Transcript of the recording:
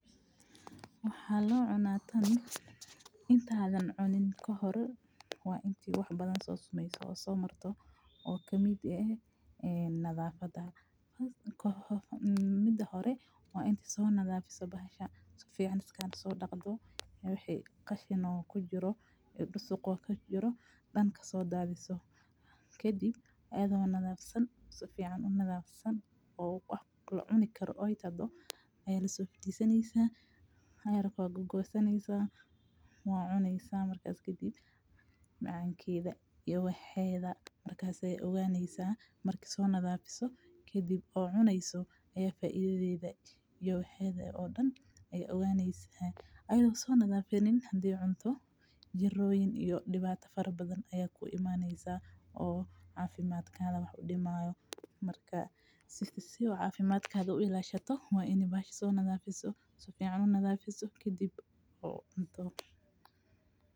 Waxa loo cunaa taan intadha an cunin kaa hoor waa intii wax badhaan so somarto oo kamid eeh nadhafada mida hoore waa intii so nadahfiso baxasha safican udagdo waxi qashaan oo kujiro iyo dusugo daan kasodaadhiso kadib ayadho nadhamsan safican u nadhamsan oo lucuni karoo ay taha aya laso fadisanaysa ayarko waa gagosanysa waa cuneysa markaas kadib macan keedha iyo waxedha markaas aa oganeysa. Marka soo nadhamiso kadib oo cuneyso aya faaidhadhedha iyo waxeedho daan aya oganeysa, ayadho soo nadhafinin hadaa aa cunto jiroyiin iyo dibata farabadhan aya kuu imanaysa oo cafimad kadha kudimayo marka sidhii cafimadka uu ilalishato waa ina bahasha soo nadhafiso safican uu nadhafiso kadib oo ucunto.